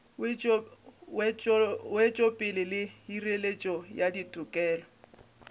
wetšopele le hireletšo ya ditokelo